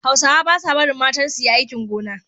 Hausawa ba sa barin matansu yi aikin gona.